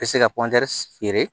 Bɛ se ka feere